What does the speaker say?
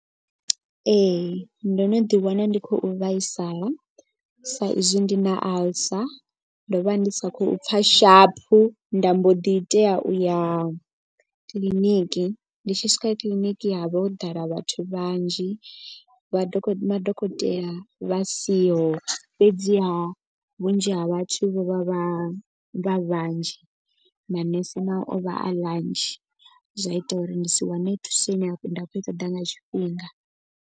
Ee ndo no ḓi wana ndi khou vhaisala sa izwi ndi na alcer. Ndo vha ndi sa khou pfha shaphu nda mbo ḓi tea u ya kiḽiniki. Ndi tshi swika kiḽiniki ha vha ho ḓala vhathu vhanzhi vha madokotela vha siho. Fhedziha vhunzhi ha vhathu vho vha vha vha vhanzhi manese nao o vha a vhanzhi zwa ita uri ndi si wane thuso ine nda kho i ṱoḓa nga tshifhinga.